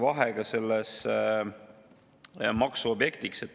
Vahe ongi siin maksuobjektis.